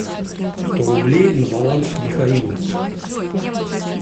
сто рублей на баланс михаилу